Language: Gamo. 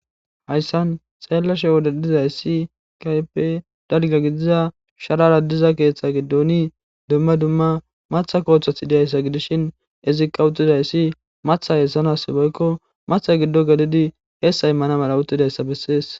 Hayssan xeellashe wodedizay ssi kype dalga gidiza sharara diza keeththa giddoni dumma dumma matha kooththath diyayssa gidishin izikka uttidayssi matha heessanas boykko matha giddo galidi heessa immana mala uttidayssa bessees.